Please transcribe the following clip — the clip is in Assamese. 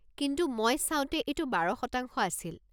কিন্তু মই চাওঁতে এইটো ১২% আছিল।